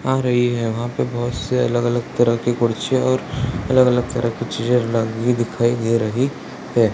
आ रही है वहां पर बहुत से अलग-अलग तरह के कुर्सियां और अलग-अलग तरह की चीजे लगी दिखाई दे रही है।